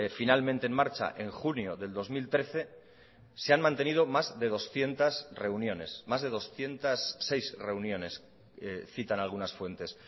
finalmente en marcha en junio del dos mil trece se han mantenido más de doscientos reuniones más de doscientos seis reuniones citan algunas fuentes